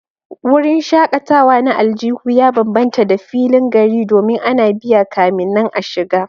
Wurin shakatawa na aljihu ya bambanta da filin gari domin ana biya kamin nan a shiga